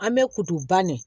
An bɛ kudu ne